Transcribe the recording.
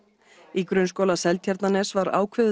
í Grunnskóla Seltjarnarness var ákveðið